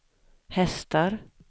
hästar